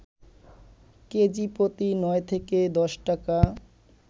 KG প্রতি ৯ থেকে ১০ টাকা